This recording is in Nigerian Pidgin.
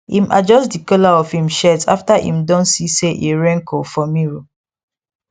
im adjust the collar of im shirt after im don see say e wrinkle for mirror